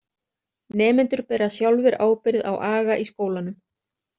Nemendur bera sjálfir ábyrgð á aga í skólanum.